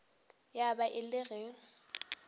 ya ba e le ge